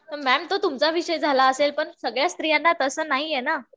तर मॅम तो तुमचा विषय झाला असेल पण सगळ्याच स्त्रियांना तसं नाहीये ना.